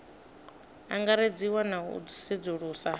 angaredziwa na u sedzulusa ha